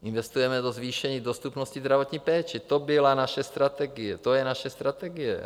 Investujeme do zvýšení dostupnosti zdravotní péče, to byla naše strategie, to je naše strategie.